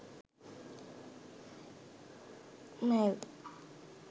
mail